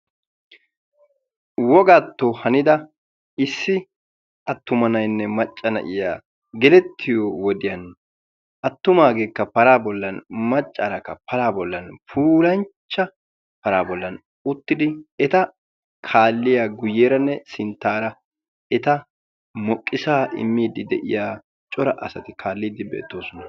wogaatto hanida issi attuma na7aynne macca na7iya gelettiyo wodiyan attumaageekka paraa bollan maccaarakka paraa bollan puulanchcha paraa bollan uttidi eta kaalliya guyyeeranne sinttaara eta moqqisaa immiiddi de7iya cora asati kaalliiddi beettoosona.